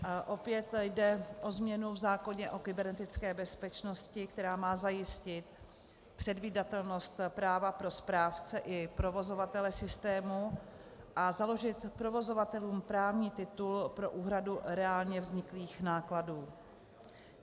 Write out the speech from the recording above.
Opět jde o změnu v zákoně o kybernetické bezpečnosti, která má zajistit předvídatelnost práva pro správce i provozovatele systému a založit provozovatelům právní titul pro úhradu reálně vzniklých nákladů.